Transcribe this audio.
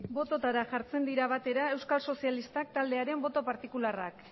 bototara jartzen dira batera euskal sozialistak taldearen boto partikularrak